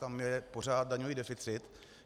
Tam je pořád daňový deficit.